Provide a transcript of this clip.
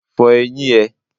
Fọ eyín ẹ.!